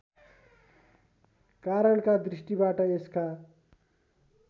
कारणका दृष्टिबाट यसका